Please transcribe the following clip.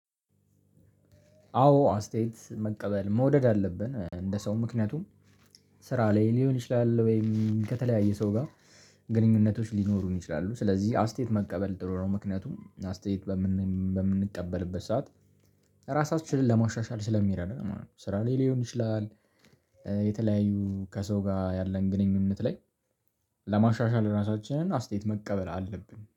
አዎ አስተያየት መቀበል መውደድ አለብን እንደ ሰው ምክንያቱም ስራ ላይ ሊሆን ይችላል ወይም ከተለያየ ሰው ጋር ግንኙነቶች ሊኖሩን ይችላሉ። ስለዚህ አስተያየት መቀበል ጥሩ ነው ምክንያቱም አስተያየት በምንቀበልበት ሰዓት ራሳችንን ለማሻሻል ስለሚረዳ ማለት ነው። ስራ ላይ ሊሆን ይችላል። የተለያዩ ከሰው ጋር ያለን ግንኙነት ላይ ለማሻሻል ራሳችንን አስተያየት መቀበል አለብን